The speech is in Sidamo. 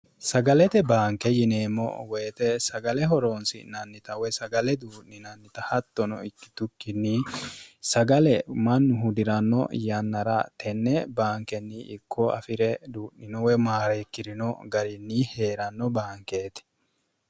sagalete baanke yineemmo woyite sagale horoonsi'nannita woy sagale duu'ninannita hattono ikkitukkinni sagale mannu hu diranno yannara tenne baankenni ikko afi're duu'ninowe maareikkirino garinni hee'ranno baankeeti